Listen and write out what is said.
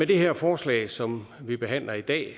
det her forslag som vi behandler i dag